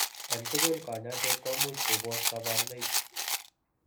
En tugul kanyaiset komuch kobos kabarunoik